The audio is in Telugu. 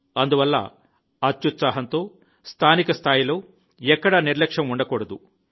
అందువల్ల అత్యుత్సాహంతో స్థానిక స్థాయిలో ఎక్కడా నిర్లక్ష్యం ఉండకూడదు